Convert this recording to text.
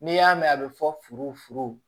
N'i y'a mɛn a bɛ fɔ furu